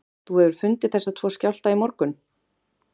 Þú hefur fundið þessa tvo skjálfta í morgun?